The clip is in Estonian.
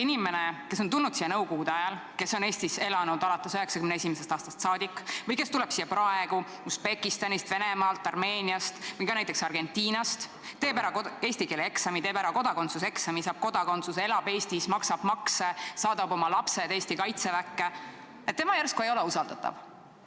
Inimene, kes on tulnud siia nõukogude ajal, kes on Eestis elanud alates 1991. aastast, või kes tuleb siia praegu Usbekistanist, Venemaalt, Armeeniast või ka näiteks Argentinast, teeb ära eesti keele eksami, teeb ära kodakondsuseksami, saab kodakondsuse, elab Eestis, maksab makse, saadab oma lapsed Eesti kaitseväkke, tema järsku ei ole usaldatav.